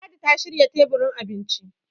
ladi ta shirya teburin abinci